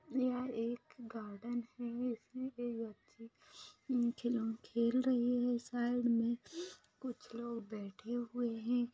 यहाँ एक गार्डन है जिसमे एक बच्ची खिलो खेल रही है साइड मे कुछ लोग बैठे हुए है।